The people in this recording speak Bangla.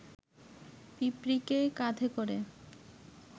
পিঁপড়ীকে কাঁধে করে